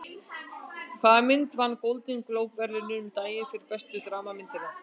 Hvaða mynd vann Golden Globe verðlaunin um daginn fyrir bestu dramamynd?